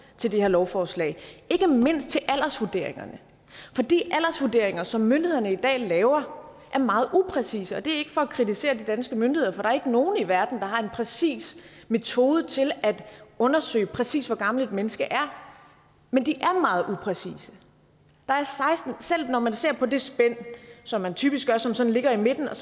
til det her lovforslag ikke mindst til aldersvurderingerne for de aldersvurderinger som myndighederne i dag laver er meget upræcise og det er ikke for at kritisere de danske myndigheder for der er ikke nogen i verden der har en præcis metode til at undersøge præcis hvor gammelt et menneske er men de er meget upræcise selv når man ser på det spænd som man typisk gør som sådan ligger i midten og